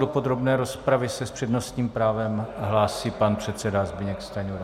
Do podrobné rozpravy se s přednostním právem hlásí pan předseda Zbyněk Stanjura.